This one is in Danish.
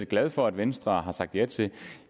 glad for at venstre har sagt ja til